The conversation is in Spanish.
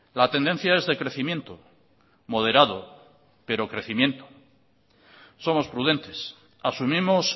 la tendencia es de crecimiento moderado pero crecimiento somos prudentes asumimos